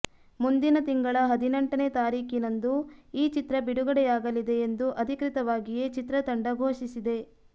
ಮುಂದಿನ ತಿಂಗಳ ಹದಿನೆಂಟನೇ ತಾರೀಕಿನಂದು ಈ ಚಿತ್ರ ಬಿಡುಗಡೆಯಾಗಲಿದೆ ಎಂದು ಅಧಿಕೃತವಾಗಿಯೇ ಚಿತ್ರತಂಡ ಘೋಷಿಸಿದೆ